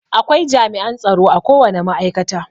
Akwai jami'an tsaro akowane ma'aikata.